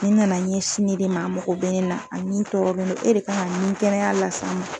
Nin nana ɲɛsin ne de ma, a mogo bɛ ne na, a nin tɔɔrɔlen don, e de kan ŋa ɲinin kɛnɛya las'a ma.